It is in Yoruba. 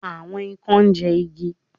Àwon ikán ńjẹ igi.